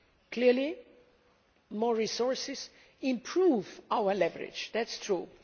Clearly, more resources improve our leverage that is true.